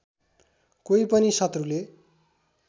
कोही पनि शत्रुले